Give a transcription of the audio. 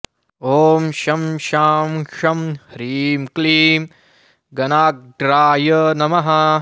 ॐ शं शां षं ह्रीं क्लीं गणाग्र्याय नमः